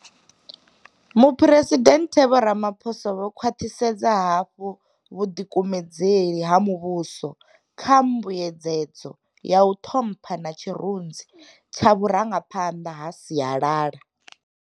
Muphuresidennde Vho Ramaphosa vho khwaṱhisedza hafhu vhuḓikumedzeli ha mu vhuso kha mbuedzedzo ya u ṱhompha na tshirunzi tsha vhurangaphanḓa ha sialala.